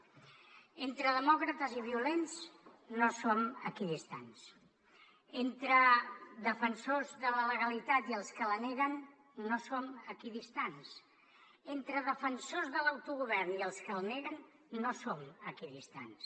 entre demòcrates i violents no som equidistants entre defensors de la legalitat i els que la neguen no som equidistants entre defensors de l’autogovern i els que el neguen no som equidistants